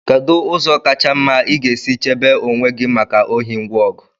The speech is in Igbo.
kedu ụzọ kacha mma ị ga-esi chebe onwe gị maka ohi ngwa ọgụ